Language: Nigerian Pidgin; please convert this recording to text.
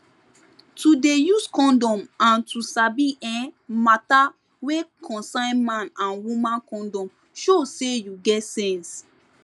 to dey use condom and to sabi[um]matter wey concern man and woman condom show say you get sense